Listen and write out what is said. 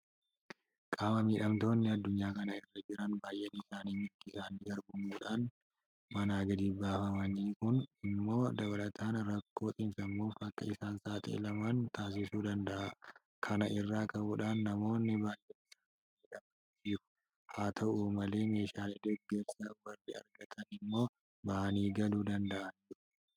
Qaama miidhamoonni addunyaa kana irra jiran baay'een isaanii mirgi isaanii sarbamuudhaan manaa gadi hinbaafamani. Kun immoo dabalataan rakkoo xiinsammuutiif akka isaan saaxilaman taasisuu danda'a. Kana irraa ka'uudhaan namoonni baay'een isaanii miidhamaa jiru. Haata'u malee meeshaalee deeggarsaa warri argatan immoo bahanii galuu danda'aniiru.